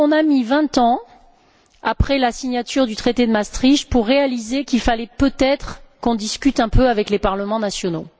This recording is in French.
c'est à dire qu'on a mis vingt ans, après la signature du traité de Maastricht, pour réaliser qu'il fallait peut être qu'on discute un peu avec les parlements nationaux.